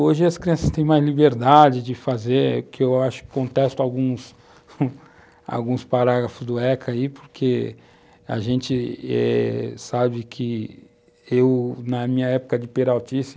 Hoje as crianças têm mais liberdade de fazer, que eu acho que contesto alguns parágrafos do ECA aí, porque a gente eh, sabe que eu, na minha época de peraltice,